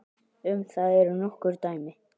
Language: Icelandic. Um það eru nokkur dæmi.